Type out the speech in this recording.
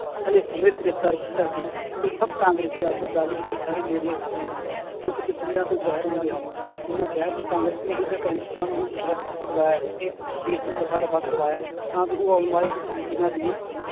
ਅਸਲੇ ਸਮੇਂ ਤੇ ਗ੍ਰਿਫ਼ਤਾਰ ਕੀਤਾ ਸੀ, ਉਹ ਸਭ ਕਾਂਗਰਸੀ ਆਗੂ ਮਜੀਠਾ ਦੇ ਨੇੜਲੇ ਸਾਥੀ ਹਨ, ਜੋ ਕਿ ਤਸਵੀਰਾਂ ਤੋਂ ਜ਼ਾਹਿਰ ਹੁੰਦੇ ਹਨ, ਉਹਨਾਂ ਕਿਹਾ ਕਿ ਕਾਂਗਰਸ ਨੇ ਇਹਨਾਂ ਗੈਂਗਸਟਰਾਂ ਨੂੰ ਵੀ ਸਰਤ ਤੇ ਛੁਡਵਾਇਆ ਹੈ ਕਿ case ਨੂੰ ਰਫ਼ਾ ਦਫ਼ਾ ਕਰਵਾਇਆ ਤਾਂ ਜੋ ਉਹ ਆਉਣ ਵਾਲੇ ਦਿਨਾਂ ਦੀਆਂ